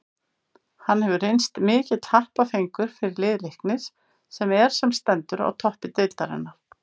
Hann hefur reynst mikill happafengur fyrir lið Leiknis sem er sem stendur á toppi deildarinnar.